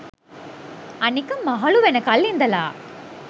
අනික මහළු වෙනකල් ඉඳලා